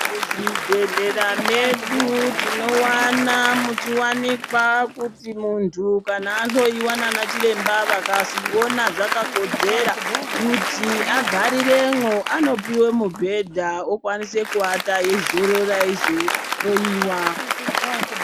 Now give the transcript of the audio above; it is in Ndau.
Muzvibhendlera medu tinowana muchiwanikwa kuti kana muntu ahloiwa ndiana chiremba vakazviona zvakakodzera kuti agariremwo. Anopiwa mubhedha okwanisa kuata eizorora eizohloiwa.